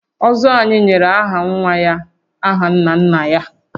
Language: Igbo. Ụzọ anyị nyere aha nwa ya aha nna nna ya